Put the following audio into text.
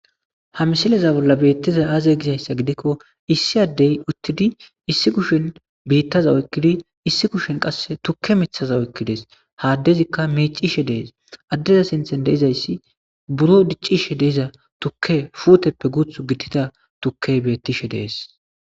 Ha misileza bolla betizay aze gizaysa gidikon issi adey utid issi kushen biitaza oykidi issi kushen qase tuke mithaza oykides, ha adezika micishe de'es, ha adeza sinthan de'izaysi buro dicishe de'iza tuke puutetappe guuthu gitida tukey betishe de'es.